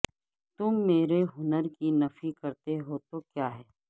تم میرے ہنر کی نفی کرتے ہو تو کیا ہے